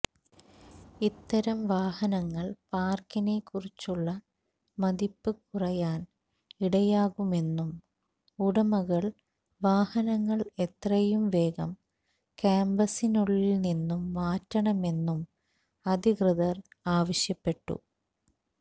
ഇത്തരം വാഹനങ്ങൾ പാർക്കിനെകുറിച്ചുള്ള മതിപ്പ് കുറയാൻ ഇടയാകുമെന്നും ഉടമകൾ വാഹനങ്ങൾ എത്രയും വേഗം ക്യാംപസിനുള്ളിൽ നിന്നും മാറ്റണമെന്നും അധികൃതർ ആവശ്യപ്പെട്ടു